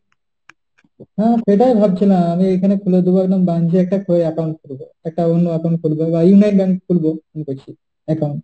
হ্যাঁ সেটাই ভাবছিলাম আমি এখানে তুলে দেবো একদম branch এ একটা করে account খুলবো। একটা অন্য account খুলব বা internet bank খুলবো। ভেবেছি account।